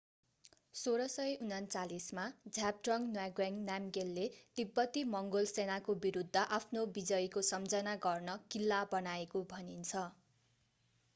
1649 मा zhabdrung ngawang namgyel ले तिब्बती-मङ्गोल सेनाको विरुद्ध आफ्नो विजयको सम्झना गर्न किल्ला बनाएको भनिन्छ